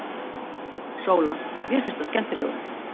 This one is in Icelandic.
SÓLA: Mér finnst hann skemmtilegur.